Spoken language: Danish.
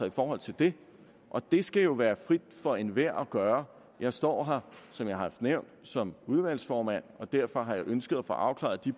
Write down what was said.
i forhold til det og det skal jo være frit for enhver at gøre jeg står her som jeg har nævnt som udvalgsformand og derfor har jeg ønsket at få afklaret de